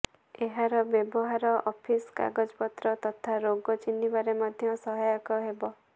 ଏହାର ବ୍ୟବହାର ଅଫିସ କାଗଜପତ୍ର ତଥା ରୋଗ ଚିହ୍ନିବାରେ ମଧ୍ୟ ସହାୟକ ହେବ